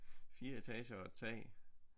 4 etager og et tag